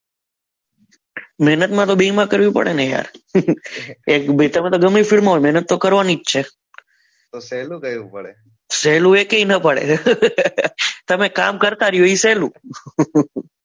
મહેનતમાં તો બેમાં કરવી પડે ને યાર એ તમે ગમે તે film માં હોય મહેનત તો કરવાની જ છે તો સહેલું કહ્યું પણ સહેલું એ કે એ કઈ ના પડે તમે કામ કરતા રહો એ સહેલું.